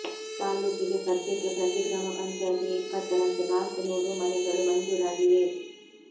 ತಾಲ್ಲೂಕಿಗೆ ಸದ್ಯಕ್ಕೆ ಪ್ರತಿ ಗ್ರಾಮ ಪಂಚಾಯ್ತಿಗೆ ಇಪ್ಪತ್ತರಂತೆ ನಾಲ್ಕು ನೂರು ಮನೆಗಳು ಮಂಜೂರಾಗಿವೆ